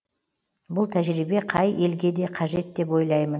бұл тәжірибе қай елге де қажет деп ойлаймын